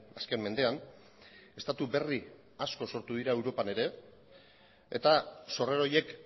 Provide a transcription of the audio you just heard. azken mendean estatu berri asko sortu dira europan ere eta sorrera horiek